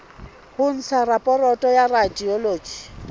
ho ntsha raporoto ya radiology